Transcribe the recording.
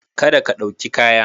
Kada ka ɗauki kaya.